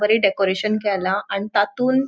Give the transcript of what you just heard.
बरे डेकोरेशन केला आणि तातुन --